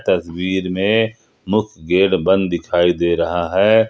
तस्वीर में मुख्य गेट बंद दिखाई दे रहा है।